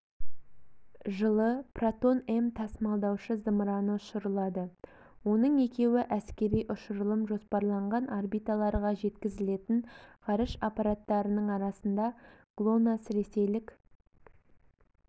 жылы протон-м тасымалдаушы-зымыраны ұшырылады оның екеуі әскери ұшырылым жоспарланған орбиталарға жеткізілетін ғарыш аппараттарының арасында глонасс ресейлік